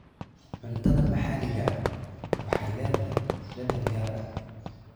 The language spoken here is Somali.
Cuntada maxaliga ahi waxay leedahay dhadhan gaar ah.